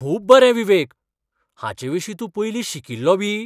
खूब बरें विवेक! हाचें विशीं तूं पयलीं शिकिल्लो बी?